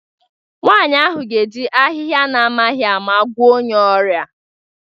Nwanyị ahụ ga-eji ahịhịa na-amaghị ama gwọọ onye ọrịa